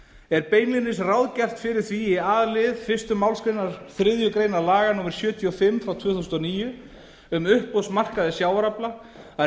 er beinlínis ráð fyrir því gert í a lið fyrstu málsgrein þriðju grein laga númer sjötíu og fimm tvö þúsund og níu um uppboðsmarkaði sjávarafla að